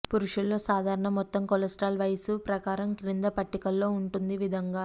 పురుషుల్లో సాధారణ మొత్తం కొలెస్ట్రాల్ వయస్సు ప్రకారం క్రింద పట్టికలో ఉంటుంది విధముగా